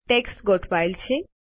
text ગોઠવાયેલ છે